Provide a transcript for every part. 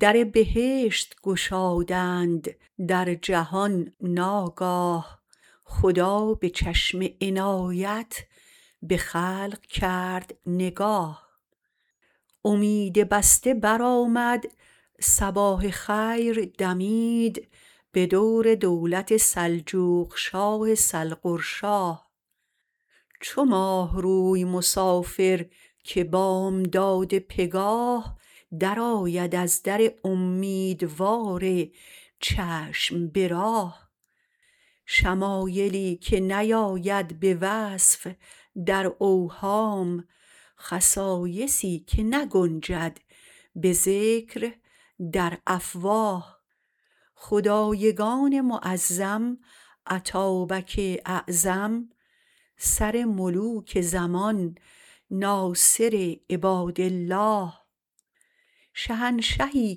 در بهشت گشادند در جهان ناگاه خدا به چشم عنایت به خلق کرد نگاه امید بسته برآمد صباح خیر دمید به دور دولت سلجوقشاه سلغرشاه چو ماهروی مسافر که بامداد پگاه درآید از در امیدوار چشم به راه شمایلی که نیاید به وصف در اوهام خصایصی که نگنجد به ذکر در افواه خدایگان معظم اتابک اعظم سر ملوک زمان ناصر عبادالله شهنشهی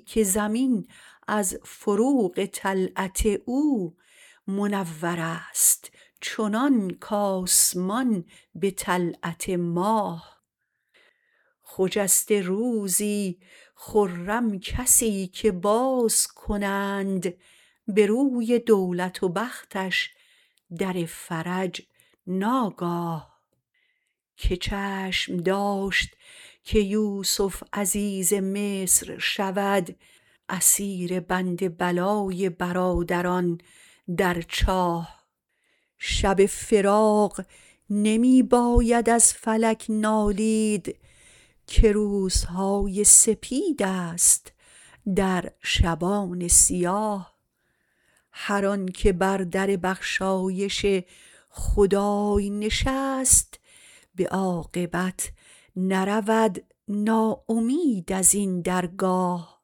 که زمین از فروغ طلعت او منورست چنان کاسمان به طلعت ماه خجسته روزی خرم کسی که باز کنند به روی دولت و بختش در فرج ناگاه که چشم داشت که یوسف عزیز مصر شود اسیر بند بلای برادران در چاه شب فراق نمی باید از فلک نالید که روزهای سپیدست در شبان سیاه هر آنکه بر در بخشایش خدای نشست به عاقبت نرود ناامید ازین درگاه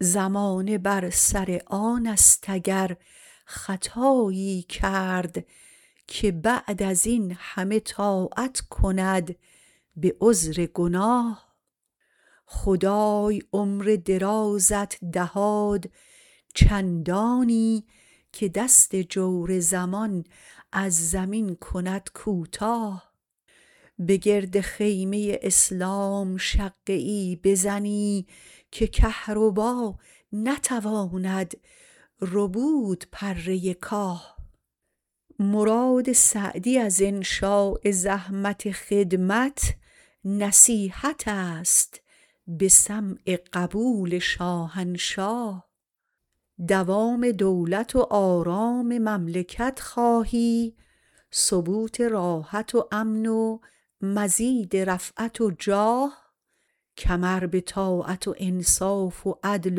زمانه بر سر آنست اگر خطایی کرد که بعد از این همه طاعت کند به عذر گناه خدای عمر درازت دهاد چندانی که دست جور زمان از زمین کند کوتاه به گرد خیمه اسلام شقه ای بزنی که کهربا نتواند ربود پره کاه مراد سعدی از انشاء زحمت خدمت نصیحتست به سمع قبول شاهنشاه دوام دولت و آرام مملکت خواهی ثبوت راحت و امن و مزید رفعت و جاه کمر به طاعت و انصاف و عدل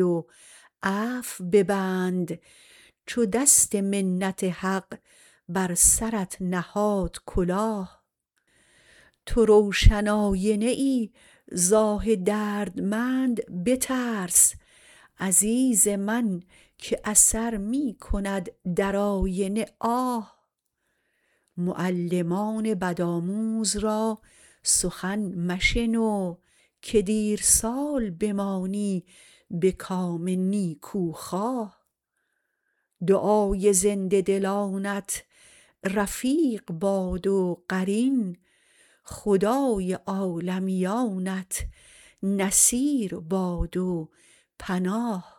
و عفو ببند چو دست منت حق بر سرت نهاد کلاه تو روشن آینه ای ز آه دردمند بترس عزیز من که اثر می کند در آینه آه معلمان بدآموز را سخن مشنو که دیر سال بمانی به کام نیکوخواه دعای زنده دلانت رفیق باد و قرین خدای عالمیانت نصیر باد و پناه